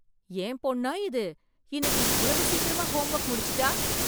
என் பொண்ணா இது, இன்னைக்கு இவ்வளவு சீக்கிரமா ஹோம் ஒர்க் முடிச்சிட்டா!